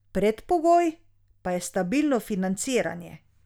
Predpogoj pa je stabilno financiranje.